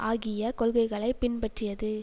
ஆகிய கொள்கைகளை பின்பற்றியது